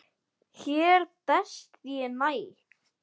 Hér best ég næ.